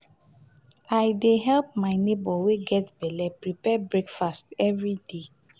i dey help my nebor wey get belle prepare breakfast everyday.